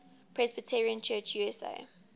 presbyterian church usa